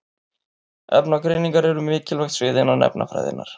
Efnagreiningar eru mikilvægt svið innan efnafræðinnar.